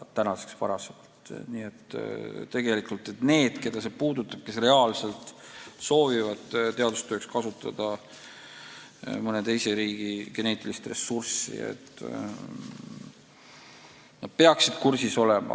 Nii et tegelikult need, keda see puudutab, kes reaalselt soovivad teadustööks kasutada mõne teise riigi geneetilist ressurssi, peaksid kursis olema.